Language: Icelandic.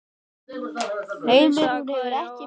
Heimir: Hún hefur ekki beðið skipbrot?